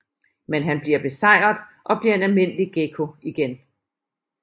Men han bliver besejret og bliver en almindelig gekko igen